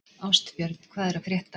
Ástbjörn, hvað er að frétta?